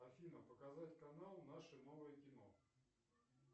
афина показать канал наше новое кино